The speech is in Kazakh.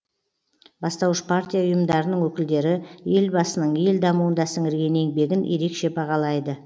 бастауыш партия ұйымдарының өкілдері елбасының ел дамуында сіңірген еңбегін ерекше бағалайды